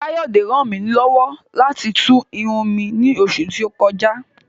Káyọ̀dé ràn mí lọ́wọ́ láti tú irun mi ní oṣù tí ó kọjá